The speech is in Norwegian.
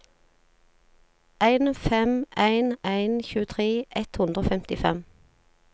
en fem en en tjuetre ett hundre og femtifem